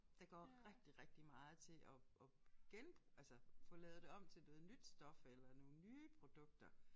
Der går rigtig rigtig meget til at at altså få lavet det om til noget nyt stof eller nogle nye produkter